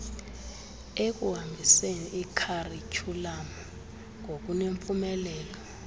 ekuhambiseni ikharityhulamu ngokunempumelelo